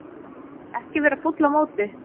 Ekki vera fúll á móti